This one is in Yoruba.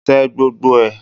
Tẹ gbogbo ẹ̀!